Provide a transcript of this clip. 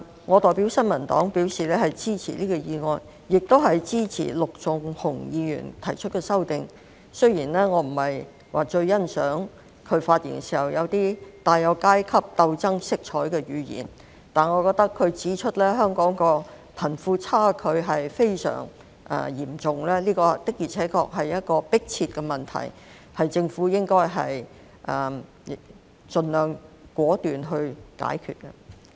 我代表新民黨表示支持這項議案，亦支持陸頌雄議員提出的修正案——雖然我不太欣賞他發言中帶有階級鬥爭色彩的語言，但他指出香港貧富差距非常嚴重，這確實是一個迫切問題，政府應該盡量果斷解決。